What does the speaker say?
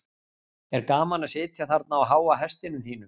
er gaman að sitja þarna á háa hestinum þínum